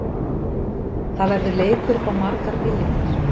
Það verður leikur upp á margar milljónir.